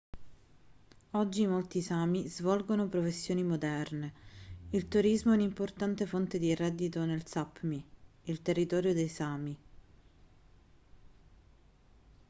oggi molti sámi svolgono professioni moderne. il turismo è un'importante fonte di reddito nel sápmi il territorio dei sámi